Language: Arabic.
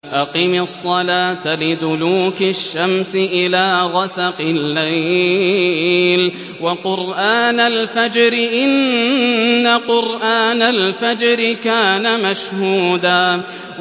أَقِمِ الصَّلَاةَ لِدُلُوكِ الشَّمْسِ إِلَىٰ غَسَقِ اللَّيْلِ وَقُرْآنَ الْفَجْرِ ۖ إِنَّ قُرْآنَ الْفَجْرِ كَانَ مَشْهُودًا